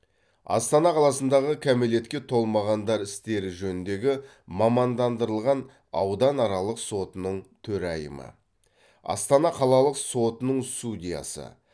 астана қаласындағы кәмелетке толмағандар істері жөніндегі мамандандырылған ауданаралық сотының төрайымы астана қалалық сотының судьясы